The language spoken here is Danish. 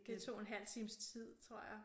Det tog en halv times tid tror jeg